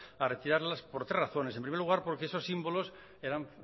a retirarlas por tres razones en primer lugar porque esos símbolos eran